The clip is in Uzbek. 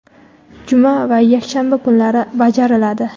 juma va yakshanba kunlari bajariladi.